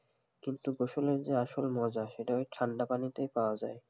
কিন্তু, গোসলের যে আসল মজা সেটা ওই ঠান্ডা পানিতেই পাওয়া যায়